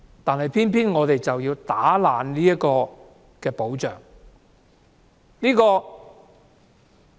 但是，政府卻偏要破壞這個保障。